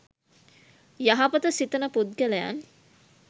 යහපත සිතන පුද්ගලයන්